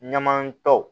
Ɲamakalaw